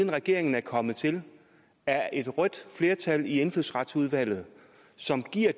regeringen er kommet til er et rødt flertal i indfødsretsudvalget som giver